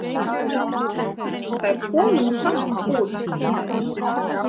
Þær komu nú samt út